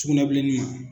Sugunɛbilenni ma